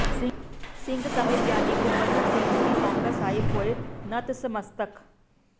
ਸਿੰਘ ਸਾਹਿਬ ਗਿਆਨੀ ਗੁਰਬਚਨ ਸਿੰਘ ਸ੍ਰੀ ਪਾਉਂਟਾ ਸਾਹਿਬ ਹੋਏ ਨਤਮਸਤਕ